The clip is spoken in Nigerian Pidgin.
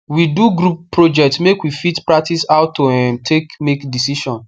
we do group project make we fit practice how to um take make decision